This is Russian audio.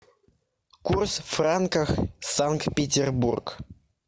курс франка санкт петербург